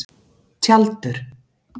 Tjaldur